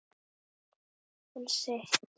Hann sitt.